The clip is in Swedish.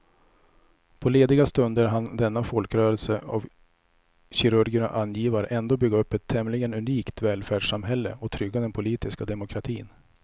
På lediga stunder hann denna folkrörelse av kirurger och angivare ändå bygga upp ett tämligen unikt välfärdssamhälle och trygga den politiska demokratin.